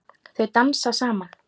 Þau dansa saman.